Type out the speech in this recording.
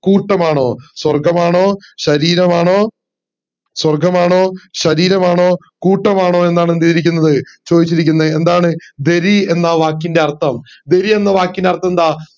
കൂട്ടമാണോ സ്വർഗമാണോ ശരീരമാണോ സ്വർഗമാണോ ശരീരമാണോ കൂട്ടമാണോ എന്ത് ചെയ്തിരിക്കുന്നത് ചോയിച്ചിരിക്കുന്നത് ദരി എന്ന വാക്കിന്റെ അർത്ഥം ദരി എന്ന വാക്കിന്റെ അർത്ഥം ന്താ